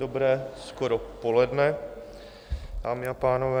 Dobré skoro poledne, dámy a pánové.